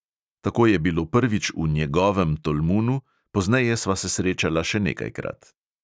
Tako je bilo prvič v njegovem tolmunu, pozneje sva se srečala še nekajkrat.